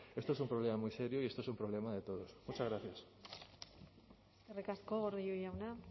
esto un problema muy serio y esto es un problema de todos muchas gracias eskerrik asko gordillo jauna